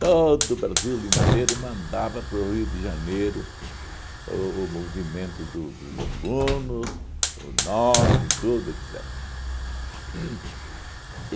Todo o Brasil inteiro mandava para o Rio de Janeiro o o movimento do dos alunos, o nome, tudo, etcetera. Uhn